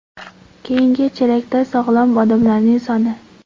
Keyingi chelakda sog‘lom odamlarning soni.